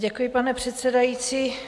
Děkuji, pane předsedající.